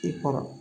I kɔrɔ